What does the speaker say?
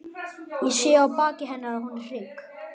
Ég sé á baki hennar að hún er hrygg.